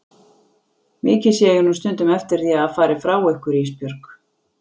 Mikið sé ég nú stundum eftir því að hafa farið frá ykkur Ísbjörg.